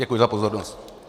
Děkuji za pozornost.